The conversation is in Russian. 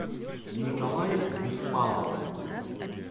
николай беспалов